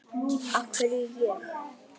Af hverju ég?